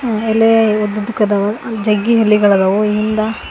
ಆ ಎಲೆ ಉದ್ದುದ್ದುಕದವ ಜಗ್ಗಿ ಎಲೆಗಳದಾವು ಹಿಂದ--